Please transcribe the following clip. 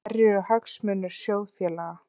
Hverjir eru hagsmunir sjóðfélaga?